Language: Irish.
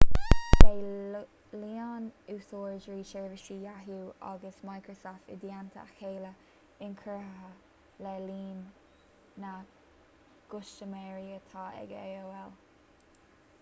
beidh líon úsáideoirí sheirbhísí yahoo agus microsoft i dteannta a chéile inchurtha le líon na gcustaiméirí atá ag aol